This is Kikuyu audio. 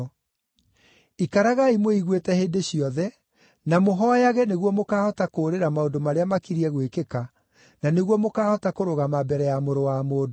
Ikaragai mwĩiguĩte hĩndĩ ciothe, na mũhooyage nĩguo mũkaahota kũũrĩra maũndũ marĩa makiriĩ gwĩkĩka, na nĩguo mũkaahota kũrũgama mbere ya Mũrũ wa Mũndũ.”